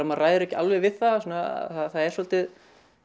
maður ræður ekki alveg við það það er svona svolítið